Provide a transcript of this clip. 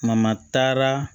taara